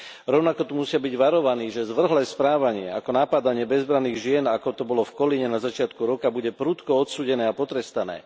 Rovnako tu musia byť varovaní, že zvrhlé správanie ako napádanie bezbranných žien, ako to bolo v Kolíne na začiatku roka, bude prudko odsúdené a potrestané.